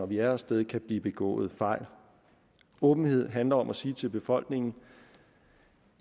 vi er af sted kan blive begået fejl åbenheden handler om at sige til befolkningen